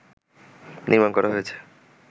নির্মাণ করা হয়েছে